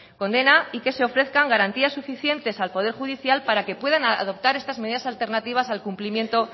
condena y que se ofrezcan garantías suficientes al poder judicial para que puedan adoptar estas medidas alternativas al cumplimiento